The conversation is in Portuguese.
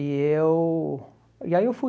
E eu... E aí eu fui.